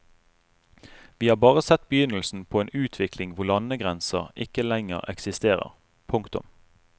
Vi har bare sett begynnelsen på en utvikling hvor landegrenser ikke lenger eksisterer. punktum